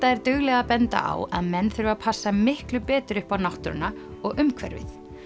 er dugleg að benda á að menn þurfi að passa miklu betur upp á náttúruna og umhverfið